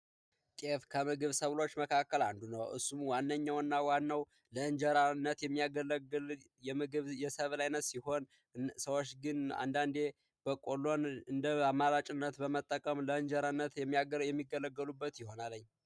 ጤፍከምግብ ሰብሎች መካከል አንዱ ነው። እሱ ዋነኛውና ዋናው ለእንጀራነት የሚያገለግል የምግብ የሰበር ሲሆን አንዳንዴ ሞቆሎውን እንዳመረጭ በመጠቀምጀራነት የሚጠቀሙበት ይሆናል።